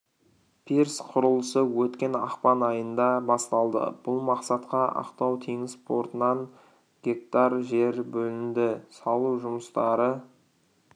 пирс құрылысы өткен ақпан айында басталды бұл мақсатқа ақтау теңіз портынан га жер бөлінді салу жұмыстары